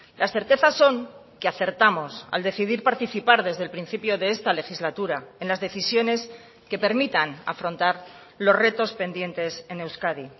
las certezas son que acertamos al decidir participar desde el principio de esta legislatura en las decisiones que permitan afrontar los retos pendientes en euskadi